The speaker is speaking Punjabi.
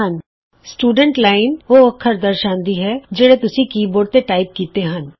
ਸਟੂਡੈਂਟ ਵਿਦਿਆਰਥੀ ਸਟੂਡੈਂਟ ਲਾਈਨ ਉਹ ਅੱਖਰ ਦਰਸਾਂਦੀ ਹੈ ਜਿਹੜੇ ਤੁਸੀਂ ਕੀ ਬੋਰਡ ਤੋਂ ਟਾਈਪ ਕੀਤੇ ਹਨ